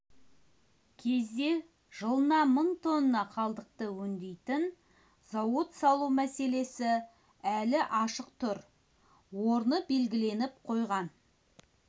кезде жылына мың тонна қалдықты өңдейтін зауыт салу мәселесі әлі ашық тұр орны белгіленіп қойған